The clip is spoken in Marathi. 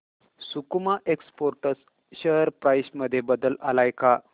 सकुमा एक्सपोर्ट्स शेअर प्राइस मध्ये बदल आलाय का